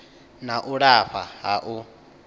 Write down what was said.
na u lafha ha u